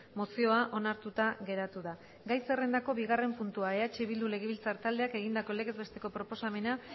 mozioa onartuta geratu da gai zerrendako bigarren puntua eh bildu legebiltzar taldeak egindako legez besteko proposamena